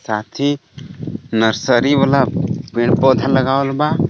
सांचे नर्सरी वाला पेड़ पौधा लगावल बा.